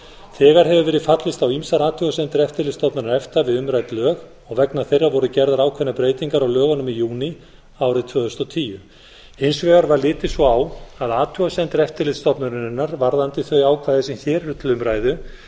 þegar hefur verið fallist á ýmsar athugasemdir eftirlitsstofnunar efta við umrædd lög og vegna þeirra voru gerðar ákveðnar breytingar á lögunum í júní árið tvö þúsund og tíu hins vegar var litið svo á að athugasemdir eftirlitsstofnunarinnar varðandi þau ákvæði sem hér eru til umræðu